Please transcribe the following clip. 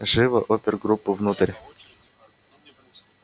живо опергруппу внутрь